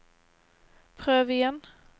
prøv igjen